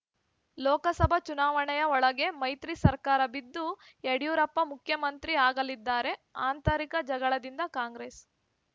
ಲೋಕಸಭಾ ಚುನಾವಣೆಯ ಒಳಗೆ ಮೈತ್ರಿ ಸರ್ಕಾರ ಬಿದ್ದು ಯಡಿಯೂರಪ್ಪ ಮುಖ್ಯಮಂತ್ರಿ ಆಗಲಿದ್ದಾರೆ ಆಂತರಿಕ ಜಗಳದಿಂದ ಕಾಂಗ್ರೆಸ್‌